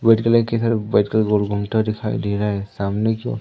white colour कि हर white colour का गोल गुमटा दिखाई दे रहा हैं सामने कि ओर--